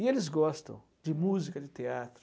E eles gostam de música, de teatro.